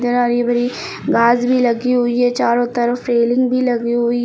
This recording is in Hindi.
घास भी लगी हुई है चारों तरफ रेलिंग भी लगी हुई--